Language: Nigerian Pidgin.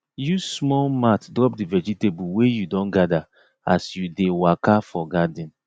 use small mat drop the vegetable wey you don gather as you dey waka for garden